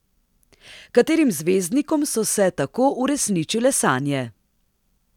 Katerim zvezdnikom so se tako uresničile sanje?